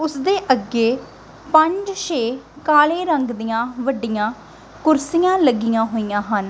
ਉਸਦੇ ਅੱਗੇ ਪੰਜ ਛੇ ਕਾਲੇ ਰੰਗ ਦੀਆਂ ਵੱਡੀਆਂ ਕੁਰਸੀਆਂ ਲੱਗੀਆਂ ਹੋਈਆਂ ਹਨ।